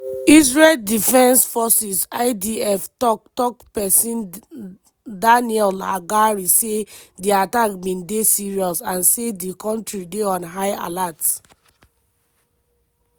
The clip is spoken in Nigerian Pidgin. israel defense forces (idf) tok-tok pesin daniel haggari say di attack bin dey "serious" and say di kontri dey on high alert.